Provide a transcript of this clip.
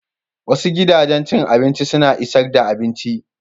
Wasu gidajen cin abinci suna isar da abinci.